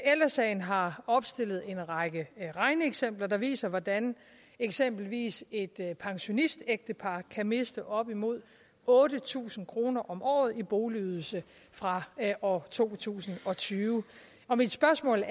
ældre sagen har opstillet en række regneeksempler der viser hvordan eksempelvis et pensionistægtepar kan miste op imod otte tusind kroner om året i boligydelse fra år to tusind og tyve mit spørgsmål